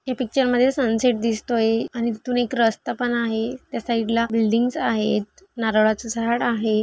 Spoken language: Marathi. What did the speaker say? ये पिक्चर मध्ये सनसेट दिसतोय आणि तिथून एक रस्ता पण आहे त्या साइडला बिल्डिंगज आहेत नारळाच झाड आहे.